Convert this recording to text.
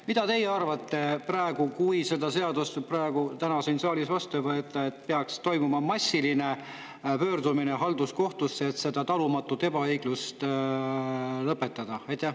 Mida teie arvate: kui see seadus täna siin saalis, kas siis peaks toimuma massiline pöördumine halduskohtusse, et see talumatu ebaõiglus lõpetada?